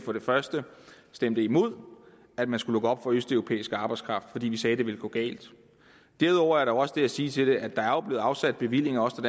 stemte imod at man skulle lukke op for østeuropæisk arbejdskraft vi vi sagde at det ville gå galt derudover er der også det at sige til det at der jo blev afsat bevillinger også